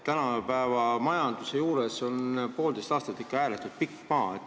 Tänapäeva majanduse juures on poolteist aastat ikka ääretult pikk aeg.